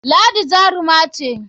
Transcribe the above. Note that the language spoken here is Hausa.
Ladi jaruma ce.